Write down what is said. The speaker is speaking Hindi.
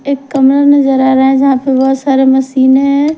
एक कमरा नजर आ रहा है जहाँ पर बहुत सारे मशीने है।